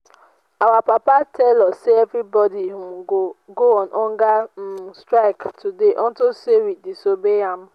our papa tell us say everybody um go go on hunger um strike today unto say we disobey am um